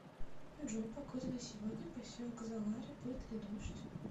джой погода на сегодня поселок залари будет ли дождь